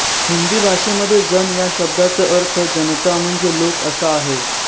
हिंदी भाषेमध्ये जन या शब्दाचा अर्थ जनता म्हणजे लोक असा आहे